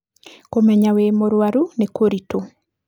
Kũmenya wĩ mũrwaru nĩ kũritũ.